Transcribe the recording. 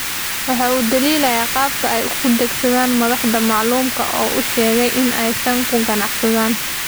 Waxa uu dhaliilay qaabka ay u adeegsadaan madaxda maamulka oo uu sheegay in aysan ku qanacsanayn.